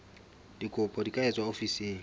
dikopo di ka etswa ofising